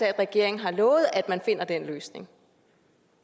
af at regeringen har lovet at man finder den løsning